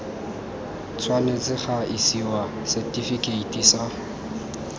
tshwanetse ga isiwa setifikeiti sa